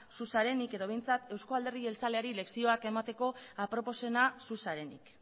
zu zarenik edo behintzat eusko alderdi jeltzaleari lezioak emateko aproposena zu zarenik